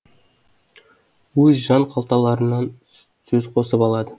өз жан қалталарынан сөз қосып алады